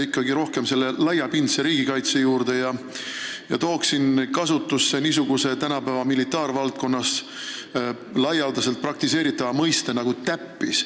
Ma tulen tagasi laiapindse riigikaitse juurde ja võtan jutuks niisuguse tänapäeval militaarvaldkonnas üsna laialdaselt kasutatava mõiste nagu "täppis".